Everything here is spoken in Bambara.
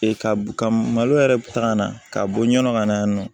ka malo yɛrɛ ta ka na ka bɔ ɲɔn ka na yan nɔ